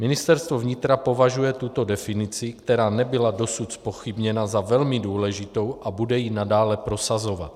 Ministerstvo vnitra považuje tuto definici, která nebyla dosud zpochybněna, za velmi důležitou a bude ji nadále prosazovat.